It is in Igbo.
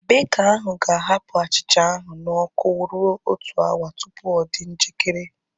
Beka ahu ga-ahapụ achịcha ahu na ọkụ rue otu awa tupu ọ dị njikere